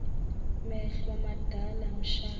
mehlo madala mshana